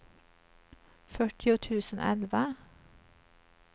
fyrtio tusen elva